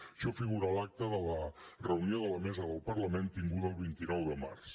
això figura a l’acta de la reunió de la mesa del parlament tinguda el vint nou de març